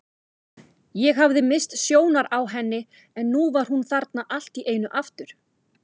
Ég hafði misst sjónar á henni en nú var hún þarna allt í einu aftur.